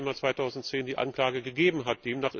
17. Dezember 2010 eine Anklage gegeben hat.